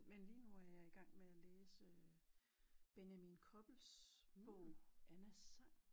Men lige nu er jeg i gang med at læse Benjamin Koppels bog Annas sang